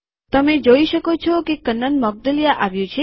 તમે જોઈ શકો છો કે કન્નન મોઉદગલ્યા આવ્યું છે